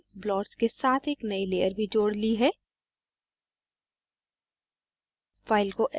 मैंने inkblots के साथ एक नयी layer भी जोड़ ली है